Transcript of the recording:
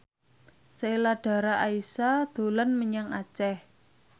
Sheila Dara Aisha dolan menyang Aceh